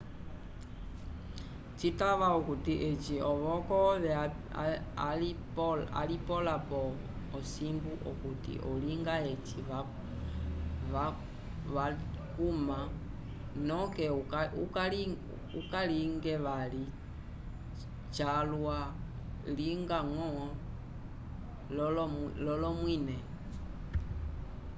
citava akuti eci ovoko ove alipola po osimbu okuti olinga eci vacuma noke ukalinge vali jalwa linga ngo lolomwine